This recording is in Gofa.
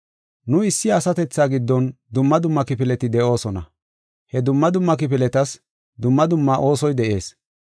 Nu issi asatethaa giddon dumma dumma kifileti de7oosona; he dumma dumma kifiletas dumma dumma oosoy de7ees.